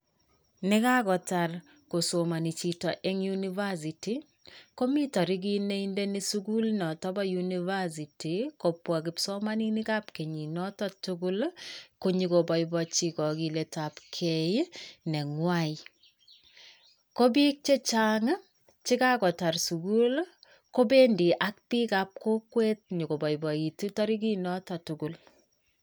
Negagotar kosomani chito eng University, komi tarigit ne indeni sugul notobo university kobwa kipsomaninikab kenyin notoktugul konyokoboiboichi kogilet abkei negwai. Ko bik chechang chekagotar sugul ii, kobendi akbikab kokwet nyokobaibaitu tarigit noto tugul.